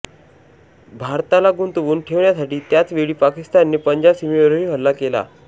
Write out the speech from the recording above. भारताला गुंतवून ठेवण्यासाठी त्याच वेळी पाकिस्तानने पंजाब सीमेवरही हल्ला केला